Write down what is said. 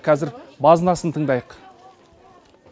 қазір базынасын тыңдайық